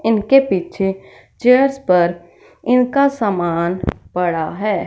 इनके पीछे चेयर्स पर इनका सामान पड़ा है।